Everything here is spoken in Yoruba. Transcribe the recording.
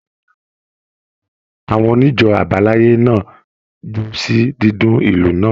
Àwọn onijo abalaye náà jó sí dídùn ìlù náà.